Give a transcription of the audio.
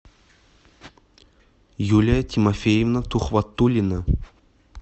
юлия тимофеевна тухватуллина